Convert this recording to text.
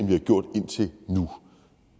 vi har gjort indtil nu